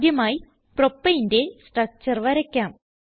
ആദ്യമായി propaneന്റെ സ്ട്രക്ചർ വരയ്ക്കാം